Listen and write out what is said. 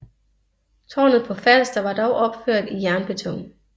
Tårnet på Falster var dog opført i jernbeton